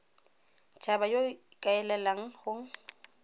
haba yo o ikaelang go